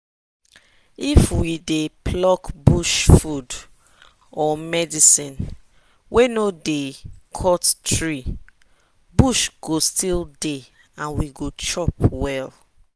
if we dey pluck bush food or medicine wey we no dey cut tree bush go still dey and we go chop well.